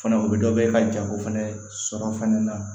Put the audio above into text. Fana u bɛ dɔ bɔ ka jago fɛnɛ sɔrɔ fana